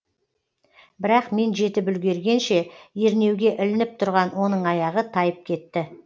бірақ мен жетіп үлгергенше ернеуге ілініп тұрған оның аяғы тайып кетті